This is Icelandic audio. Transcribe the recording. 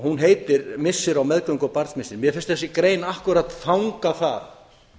hún heitir missir á meðgöngu og barnsmissir mér finnst þessi grein akkúrat fanga það